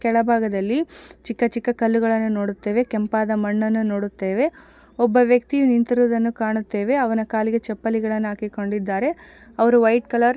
ಕೆಳಭಾಗದಲ್ಲಿ ಚಿಕ್ಕ ಚಿಕ್ಕ ಕಲ್ಲುಗಳನ್ನು ನೋಡುತ್ತೇವೆ ಕೆಂಪಾದ ಮಣ್ಣನ್ನು ನೋಡುತ್ತೇವೆ ಒಬ್ಬ ವ್ಯಕ್ತಿ ನಿಂತಿರುವುದನ್ನು ನೋಡುತ್ತೇವೆ ಅವನು ಕಾಲಿಗೆ ಚಪ್ಪಲಿಗಳನ್ನು ಹಾಕಿಕೊಂಡಿದ್ದಾರೇ ಅವರು ವೈಟ್ ಕಲರ್ ---